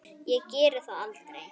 Ég geri það aldrei.